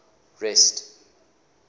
rest